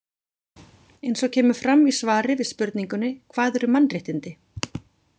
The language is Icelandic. Eins og kemur fram í svari við spurningunni Hvað eru mannréttindi?